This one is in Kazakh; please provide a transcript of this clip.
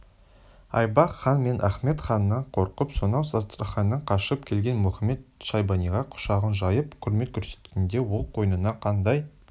айбақ хан мен ахмед ханнан қорқып сонау астраханьнан қашып келген мұхамед-шайбаниға құшағын жайып құрмет көрсеткенінде ол қойнына қандай